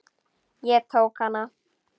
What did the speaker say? Ég tók hana.